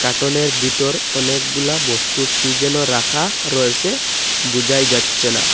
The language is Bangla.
আটনের বিতর অনেকগুলা বস্তু কি যেন রাখা রয়েসে বোজাই যাচ্ছে না।